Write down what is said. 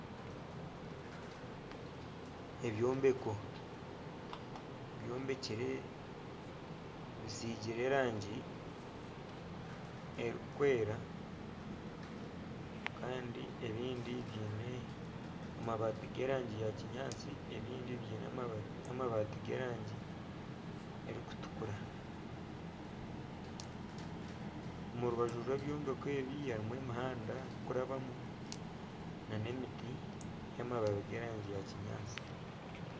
Ebyombeko byombekire bisiigire erangi erikwera kandi ebindi biine amabaati g'erangi ya kinyaatsi ebindi biine amabaati g'erangi erikutukura. Omu rubaju rw'ebyombeko ebi harimu emihanda erikurabamu nana emiti y'amababi g'erangi ya kinyaatsi.